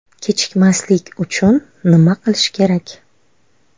Kechikmaslik uchun nima qilish kerak?.